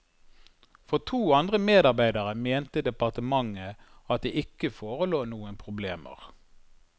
For to andre medarbeidere mente departementet at det ikke forelå noen problemer.